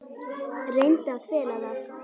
Reyndi að fela það.